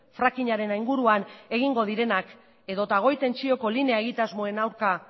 frackingaren inguruan egingo direnak edota goi tentsioko linea egitasmoen aurka